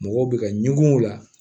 Mɔgɔw bɛ ka ɲugun o la